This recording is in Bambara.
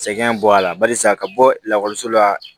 Sɛgɛn bɔ a la barisa ka bɔ lakɔliso la